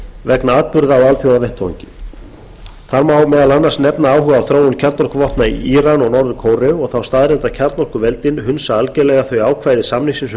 vegna atburða á alþjóðavettvangi það má meðal annars nefna áhuga á þróun kjarnorkuvopna í íra og norður kóreu og þá staðreynd að kjarnorkuveldin hunsa algerlega þau ákvæði samningsins um bann